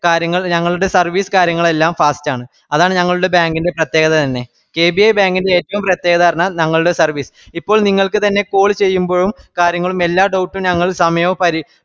കാര്യങ്ങൾ ഞങ്ങളുടെ service കാര്യങ്ങളെല്ലാം fast ആണ് അതാണ് ഞങ്ങളുടെ bank ന്റെ പ്രേത്യേകത തന്നെ കെ ബി എ bank ൻറെ ഏറ്റവും പ്രേത്യേകത പറഞ്ഞാ ഞങ്ങളുടെ service ഇപ്പോൾ നിങ്ങൾക് തന്നെ call ചെയ്യുമ്പഴും കാര്യങ്ങളും എല്ല doubt ഉം ഞങ്ങള് സമയോം പരിഷ്